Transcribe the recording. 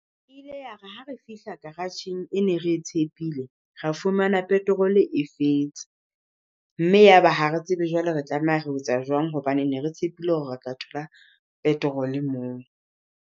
Ile ya re ha re fihla garageng e ne re tshepile, ra fumana petrol e fetse. Mme yaba ha re tsebe jwale re tlameha re etsa jwang, hobane ne re tshepile hore re tla thola petrol moo.